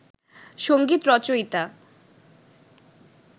সংগীত রচয়িতা